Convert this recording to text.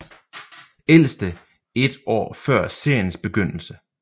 Ældste et år før seriens begyndelse